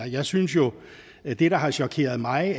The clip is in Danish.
jeg synes jo at det der har chokeret mig